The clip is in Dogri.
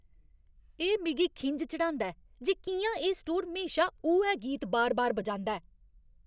एह् मिगी खिंझ चढ़ांदा ऐ जे कि'यां एह् स्टोर म्हेशा उ'ऐ गीत बार बार बजांदा ऐ।